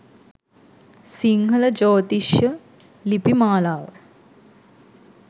සිංහල ජ්‍යොතිෂ ලිපි මාලාව